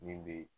Min bɛ